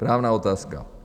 Správná otázka.